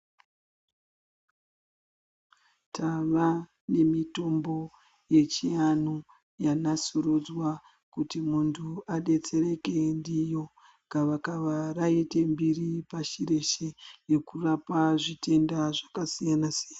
Tava nemitombo yechiantu yanasurudzwa kuti muntu adetsereke ndiyo, gavakava raite mbiri pashi reshe yekurapa zvitenda zvakasiyana-siyana.